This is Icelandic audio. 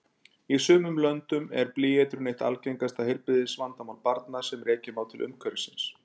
Í sumum löndum er blýeitrun eitt algengasta heilbrigðisvandamál barna sem rekja má til umhverfisins.